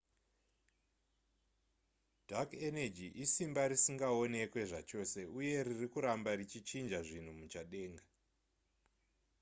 dark energy isimba risingaonekwe zvachose uye riri kuramba richichinja zvinhu muchadenga